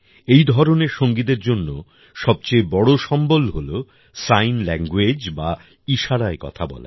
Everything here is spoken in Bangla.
এই ধরনের সঙ্গীদের জন্য সবচেয়ে বড় সম্বল হল সাইন ল্যাংগুয়েজ বা ইশারায় কথা বলা